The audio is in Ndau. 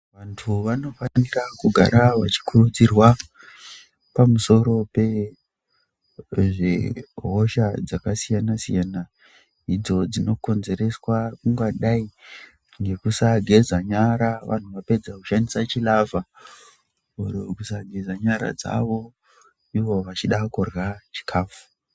Vantu vanofana kugara vachikuridzirwa Pamusoro pehosha dzakasiyana siyana idzo dzinokonzereswa ingadai nekusageza nyara vanhu Vapedza kushandisa chilava Mumhu kisagezabnyra dzawo ivo vachida kusageza nyara dzAwo.